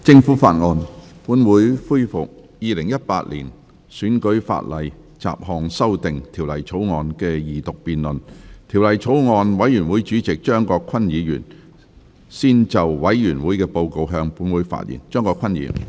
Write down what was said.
主席，我謹以《2018年選舉法例條例草案》委員會主席的身份，向立法會提交報告，並簡述法案委員會商議的主要事項。